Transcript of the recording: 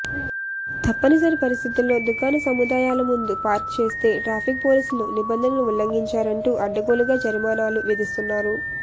తప్పని పరిస్థితుల్లో దుకాణ సముదాయాల ముందు పార్క్ చేస్తే ట్రాఫిక్ పోలీసులు నిబంధనలు ఉల్లఘించారంటూ అడ్డగోలుగా జరిమానాలు విధిస్తున్నారు